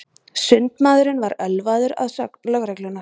Sundmaðurinn var ölvaður að sögn lögreglunnar